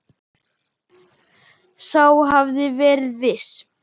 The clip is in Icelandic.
Sá hafði verið viss!